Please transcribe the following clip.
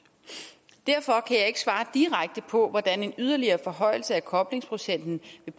derfor kan jeg ikke svare direkte på hvordan en yderligere forhøjelse af koblingsprocenten